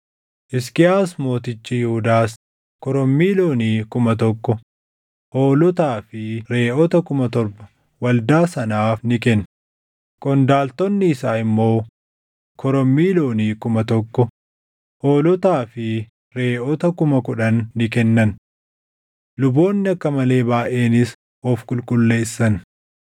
Hisqiyaas mootichi Yihuudaas korommii loonii kuma tokko, hoolotaa fi reʼoota kuma torba waldaa sanaaf ni kenne; qondaaltonni isaa immoo korommii loonii kuma tokko, hoolotaa fi reʼoota kuma kudhan ni kennan. Luboonni akka malee baayʼeenis of qulqulleessan.